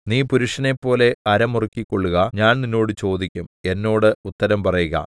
നീ പുരുഷനെപ്പോലെ അര മുറുക്കികൊള്ളുക ഞാൻ നിന്നോട് ചോദിക്കും എന്നോട് ഉത്തരം പറയുക